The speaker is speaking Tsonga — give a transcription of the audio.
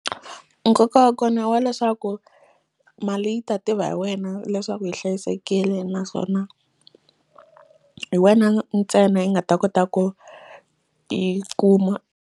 Nkoka wa kona wa leswaku mali yi ta tiva hi wena leswaku yi hlayisekile naswona hi wena ntsena yi nga ta kota ku yi kuma.